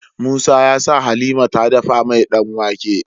Musa yasa halima ta dafa mai dan wake